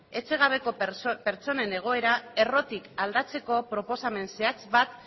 etxegabeko pertsonen egoera errotik aldatzeko proposamen zehatz bat